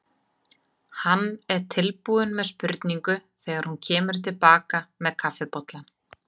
Hann er tilbúinn með spurningu þegar hún kemur til baka með kaffibollann.